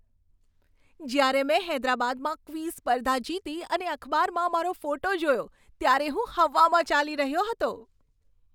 જ્યારે મેં હૈદરાબાદમાં ક્વિઝ સ્પર્ધા જીતી અને અખબારમાં મારો ફોટો જોયો ત્યારે હું હવામાં ચાલી રહ્યો હતો.